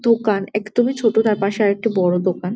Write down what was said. দোকান একদমই ছোট তার পাশে আর একটি বড় দোকান।